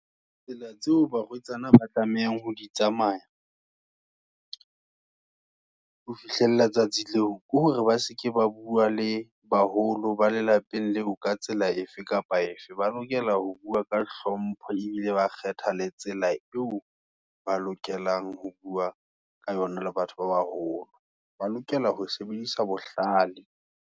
Tsela tseo, barwetsana ba tlamehang ho di tsamaya, ho fihlella tsatsi leo, ke hore baseke ba bua le baholo, ba lelapeng leo, ka tsela efeng kapa efe. Ba lokela ho bua ka hlompho, ebile ba kgetha le tsela eo, ba lokelang ho bua ka yona, le batho ba baholo, ba lokela ho sebedisa bohlale.